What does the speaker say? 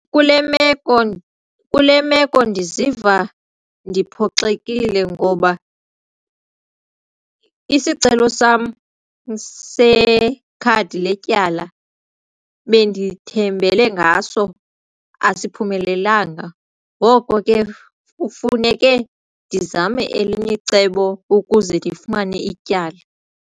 Kule meko, kule meko ndiziva ndiphoxekile ngoba isicelo sam sekhadi letyala bendithembele ngaso asiphumelelanga ngoko ke kufuneke ndizame elinye icebo ukuze ndifumane ityala.